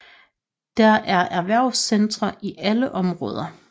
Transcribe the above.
Der er erhvervscentre i alle områder